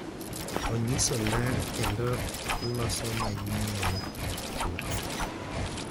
Onyiso ler kendo loso manyien chuth.